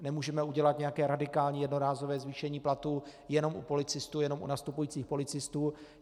Nemůžeme udělat nějaké radikální, jednorázové zvýšení platů jenom u policistů, jenom u nastupujících policistů.